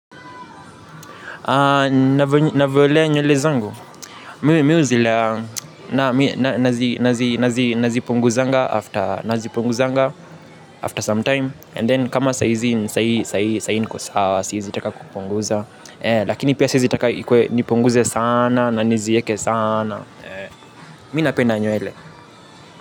Navyolea nywele zangu. Mi huzilea. Nazipunguzanga after some time. And then kama saizi niko sawa siezi taka kupunguza. Lakini pia siezi taka ikue nipunguze sana na nizieke sana. Mi napenda nywele.